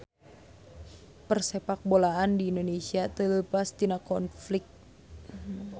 Persepakbolaan di Indonesia teu leupas tina konflik